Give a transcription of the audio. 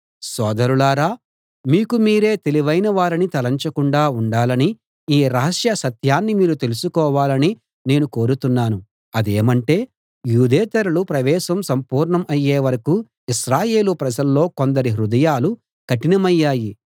సోదరులారా మీకు మీరే తెలివైన వారని తలంచకుండా ఉండాలని ఈ రహస్య సత్యాన్ని మీరు తెలుసుకోవాలని నేను కోరుతున్నాను అదేమంటే యూదేతరుల ప్రవేశం సంపూర్ణం అయ్యే వరకూ ఇశ్రాయేలు ప్రజల్లో కొందరి హృదయాలు కఠినమయ్యాయి